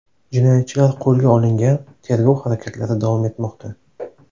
Jinoyatchilar qo‘lga olingan, tergov harakatlari davom etmoqda.